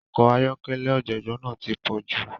Ọkọ̀ ayọ́kẹ́lẹ́ ọ̀jọ̀gbọ́n náà ti pọ̀jù.